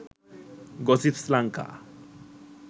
gossips lanka